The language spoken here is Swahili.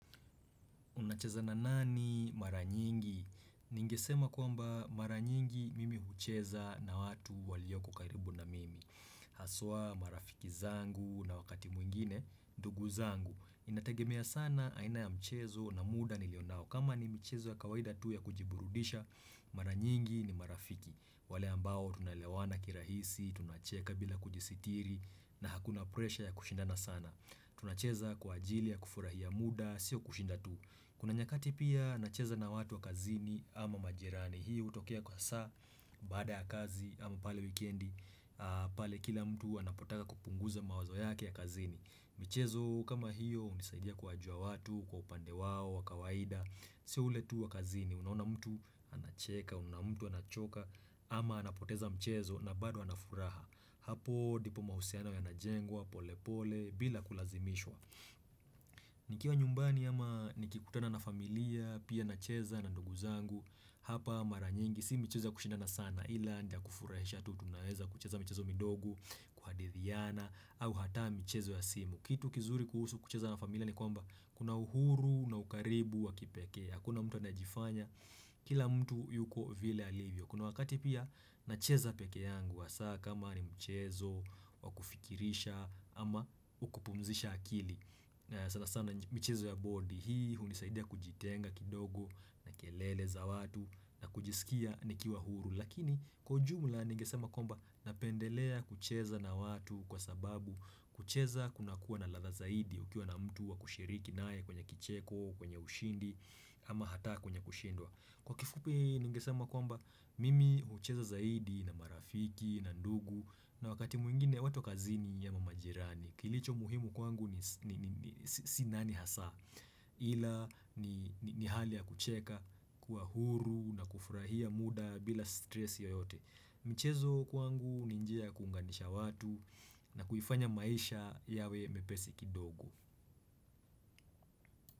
Unacheza na nani mara nyingi? Ningesema kwamba mara nyingi mimi hucheza na watu walioko karibu na mimi. Haswa marafiki zangu na wakati mwingine, ndugu zangu. Inategemea sana aina ya mchezo na muda nilionao. Kama ni michezo ya kawaida tu ya kujiburudisha, mara nyingi ni marafiki. Wale ambao tunaelewana kirahisi, tunacheka bila kujisitiri na hakuna presha ya kushindana sana. Tunacheza kwa ajili ya kufurahia muda, sio kushinda tu. Kuna nyakati pia, nacheza na watu wa kazini ama majirani. Hii hutokea kwa saa, baada ya kazi ama pale wikendi, pale kila mtu anapotaka kupunguza mawazo yake ya kazini. Michezo kama hiyo, hunisaidia kuwajua watu, kwa upande wao, wa kawaida, sio ule tu wa kazini. Unaona mtu anacheka, unaona mtu anachoka ama anapoteza mchezo na bado anafuraha. Hapo ndipo mahusiano yanajengwa, pole pole, bila kulazimishwa. Nikiwa nyumbani ama nikikutana na familia Pia nacheza na ndugu zangu Hapa mara nyingi si michezo ya kushindana sana Ila ni ya kufurahisha tu tunaweza kucheza michezo midogo, kuhadithiana au hata michezo ya simu. Kitu kizuri kuhusu kucheza na familia ni kwamba Kuna uhuru na ukaribu wa kipekee Hakuna mtu anajifanya Kila mtu yuko vile alivyo Kuna wakati pia nacheza peke yangu hasa kama ni mchezo wakufikirisha ama wa kupumzisha akili sana sana michezo ya bodi hii unisaidia kujitenga kidogo na kelele za watu na kujisikia nikiwa huru Lakini kwa ujumla ningesema kwamba napendelea kucheza na watu kwa sababu kucheza kuna kuwa na ladha zaidi ukiwa na mtu wa kushiriki naye kwenye kicheko kwenye ushindi ama hata kwenye kushindwa Kwa kifupi ningesema kwamba mimi hucheza zaidi na marafiki na ndugu na wakati mwingine watu kazini ama majirani Kilicho muhimu kwangu ni sinani hasa ila ni hali ya kucheka kuwa huru na kufurahia muda bila stress yoyote michezo kwangu ni njia ya kunganisha watu na kuifanya maisha yawe mepesi kidogo.